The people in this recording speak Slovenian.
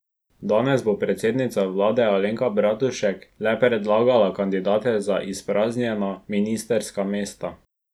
Danes bo predsednica vlade Alenka Bratušek le predlagala kandidate za izpraznjena ministrska mesta.